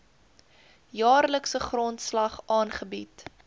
jaarlikse grondslag aangebied